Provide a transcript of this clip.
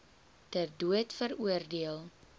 ter dood veroordeel